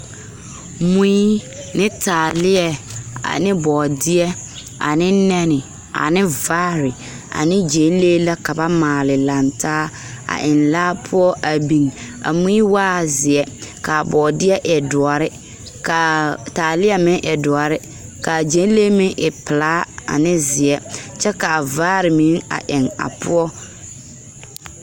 Mui ne taaliya ane bɔɔdeɛ ane nɛne ane vaare ane gyɛnle la ka ba maale lantaa a eŋ laa poɔ a biŋ a mui waa seɛ ka a bɔɔdeɛ e doɔre ka a taaliya meŋ e doɔre ka gyɛnle meŋ e pelaa ane seɛ kyɛ ka vaare meŋ a eŋ a poɔ.